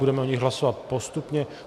Budeme o nich hlasovat postupně.